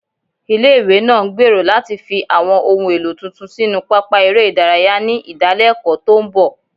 Ilé-ìwé náà ń gbèrò láti fi àwọn ohun èlò tuntun sínú pápá eré ìdárayá ní ìdálẹ́kọ̀ọ́ tó ń bọ̀